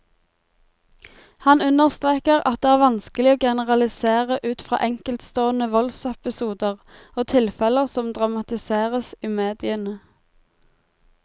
Han understreker at det vanskelig å generalisere ut fra enkeltstående voldsepisoder og tilfeller som dramatiseres i mediene.